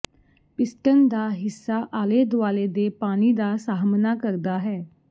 piston ਦਾ ਹਿੱਸਾ ਆਲੇ ਦੁਆਲੇ ਦੇ ਪਾਣੀ ਦਾ ਸਾਹਮਣਾ ਕਰਦਾ ਹੈ